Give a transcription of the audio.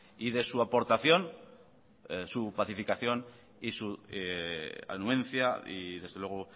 y de su aportación su pacificación y su anuencia y desde luego